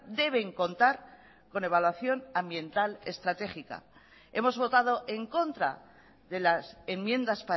deben contar con evaluación ambiental estratégica hemos botado en contra de las enmiendas